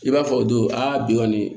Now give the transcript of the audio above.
I b'a fɔ o don aa bi kɔni